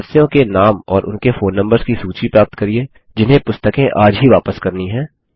सदस्यों के नाम और उनके फोन नम्बर्स की सूची प्राप्त करिये जिन्हें पुस्तकें आज ही वापस करनी है